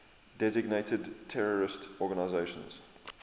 designated terrorist organizations